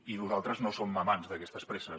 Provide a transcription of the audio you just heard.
i nosaltres no som amants d’aquestes presses